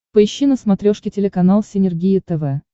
поищи на смотрешке телеканал синергия тв